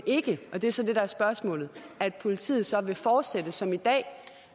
ikke og det er så det der er spørgsmålet politiet så vil fortsætte som i dag